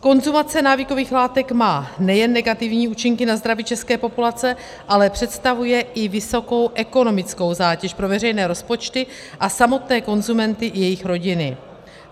Konzumace návykových látek má nejen negativní účinky na zdraví české populace, ale představuje i vysokou ekonomickou zátěž pro veřejné rozpočty a samotné konzumenty i jejich rodiny.